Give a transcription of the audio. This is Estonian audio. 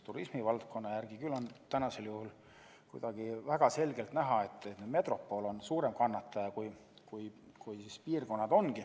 Turismivaldkonnas on aga praegusel juhul väga selgelt näha, et metropol on suurem kannataja kui muud piirkonnad.